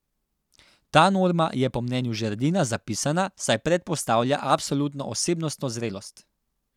Ta norma je, po mnenju Žerdina, zapisana, saj predpostavlja absolutno osebnostno zrelost.